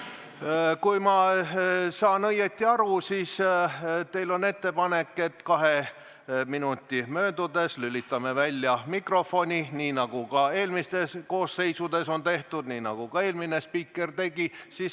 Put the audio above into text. Kui ma saan õigesti aru, siis teil on ettepanek, et kahe minuti möödudes lülitame mikrofoni välja, nii nagu ka eelmistes koosseisudes on tehtud, nii nagu ka eelmine spiiker tegi.